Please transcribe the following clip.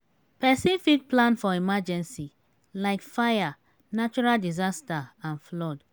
person fit plan for emergency like fire natural disaster and flood